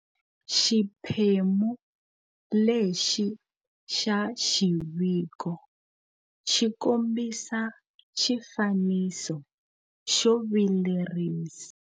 Xiphemu lexi xa xiviko xikombisa xifaniso xo vilerisa.